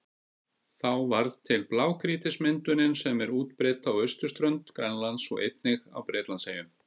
Þá varð til blágrýtismyndunin sem er útbreidd á austurströnd Grænlands og einnig á Bretlandseyjum.